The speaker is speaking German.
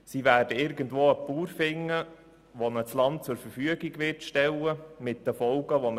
Sie werden irgendwo einen Bauern finden, der ihnen Land zur Verfügung stellt, verbunden mit den bekannten Folgen.